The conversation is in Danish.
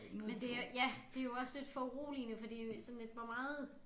Men det er ja det jo også lidt foruroligende fordi sådan lidt hvor meget